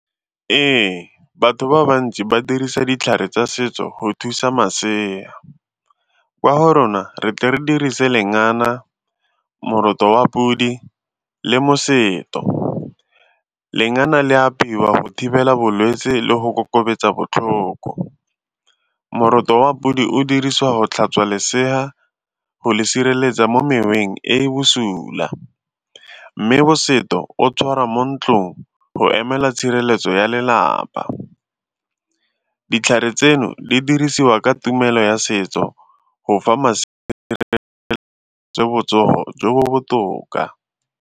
Ee, batho ba bantsi ba dirisa ditlhare tsa setso go thusa masea. Kwa go rona re tle re dirise lengana, moroto wa podi le nosetso. Lengana le a apeiwa go thibela bolwetsi le go kokobetsa botlhoko, moroto wa podi o dirisiwa go tlhatswa lesea go le sireletsa mo moweng e e bosula mme nosetso o tshwara mo ntlong go emela tshireletso potso ya lelapa. Ditlhare tseno di dirisiwa ka tumelo ya setso go botsogo jo bo botoka.